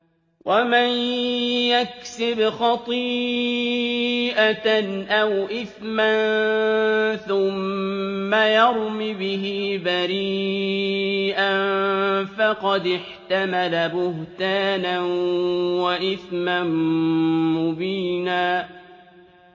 وَمَن يَكْسِبْ خَطِيئَةً أَوْ إِثْمًا ثُمَّ يَرْمِ بِهِ بَرِيئًا فَقَدِ احْتَمَلَ بُهْتَانًا وَإِثْمًا مُّبِينًا